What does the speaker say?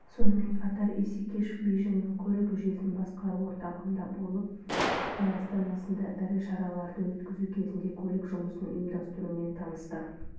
сонымен қатар исекешев бейжіңнің көлік жүйесін басқару орталығында болып қытай астанасында ірі шараларды өткізу кезінде көлік жұмысын ұйымдастырумен танысты